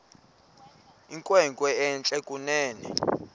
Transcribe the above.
inkwenkwe entle kunene